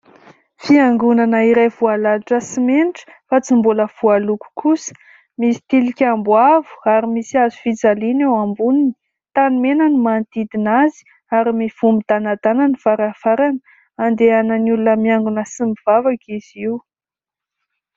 Fiangonana iray voalalotra simenitra fa tsy mbola voaloko kosa. Misy tilikambo avo ary misy hazo fijaliana eo amboniny. Tany mena ny manodidina azy ary mivoha midànadàna ny varavarana andehanany. Olona miangona sy mivavaka izy io.